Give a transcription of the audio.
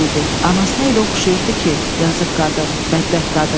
Oğlan böyüdü, anasına elə oxşayırdı ki, yazıq qadın, bədbəxt qadın.